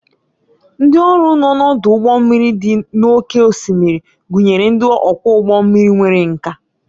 Ndị ọrụ nọ n'ọdụ ụgbọ mmiri dị n'oké osimiri gụnyere ndị ọkwọ ụgbọ mmiri nwere nkà